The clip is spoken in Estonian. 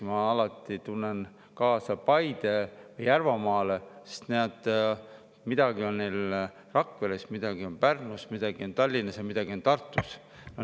Ma alati tunnen kaasa näiteks Paidele, Järvamaale, sest midagi on neil Rakveres, midagi on Pärnus, midagi on Tallinnas ja midagi on Tartus.